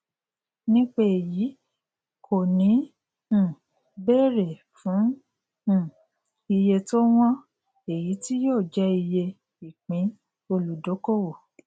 nípa èyí kò ní um bèrè fún um iye tó wọn èyí tí yóò jẹ iye ìpín olùdókòwò